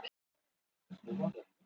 Henrik Eggerts stimplar sig inn.